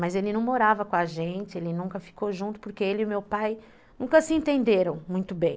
Mas ele não morava com a gente, ele nunca ficou junto, porque ele e meu pai nunca se entenderam muito bem.